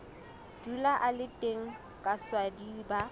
dula a le teng kaswadi ba